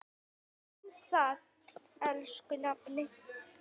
Takk fyrir það, elsku nafni.